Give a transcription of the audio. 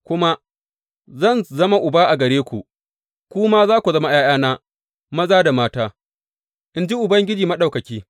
Kuma, Zan zama Uba a gare ku, ku kuma za ku zama ’ya’yana, maza da mata, in ji Ubangiji Maɗaukaki.